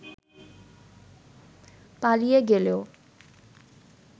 পালিয়ে গেলেও